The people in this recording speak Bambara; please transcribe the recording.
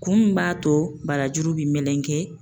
Kun min b'a to barajuru bi melegen